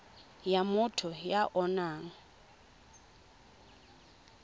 ya motho ya o nang